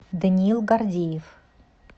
даниил гордеев